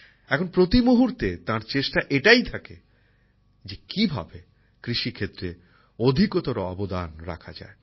এখন প্রতিমুহূর্তে তাঁর চেষ্টা এটাই থাকে যে কী ভাবে কৃষি ক্ষেত্রে অধিকতর অবদান রাখা যায়